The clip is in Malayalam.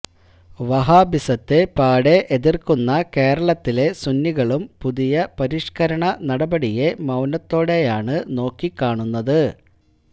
വഹാബിസത്തെ പാടെ എതിർക്കുന്ന കേരളത്തിലെ സുന്നികളും പുതിയ പരിഷ്കരണ നടപടിയെ മൌനത്തോടെയാണ് നോക്കിക്കാണുന്നത്